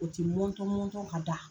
O ti mɔntɔn mɔntɔn ka da.